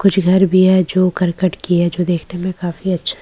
कुछ घर भी है जो करकट की है जो देखने में काफी अच्छा--